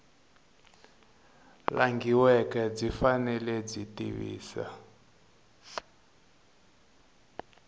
langhiweke byi fanele byi tivisa